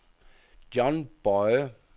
John Boye